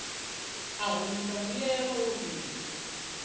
u humisa mbuyelo o fhira